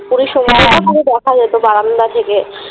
পুরীর সমুদ্রটা পুরো দেখা যেত বারান্দা থেকে।